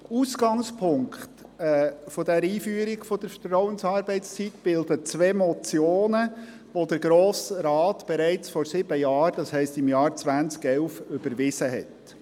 Ausgangspunkt der Einführung der Vertrauensarbeitszeit bilden zwei Motionen welche der Grosse Rat bereits vor sieben Jahren, das heisst im Jahr 2011, überwiesen hat.